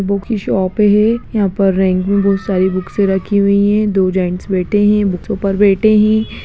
Book की shop है यहाँ पे रैंक में बहुत सारी बुक राखी हुई है दो जेन्स बैठे है बुकसो पर बैठे है।